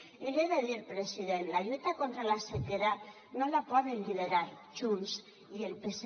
i l’hi he de dir president la lluita contra la sequera no la poden liderar junts i el psc